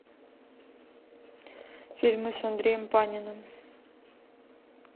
фильмы с андреем паниным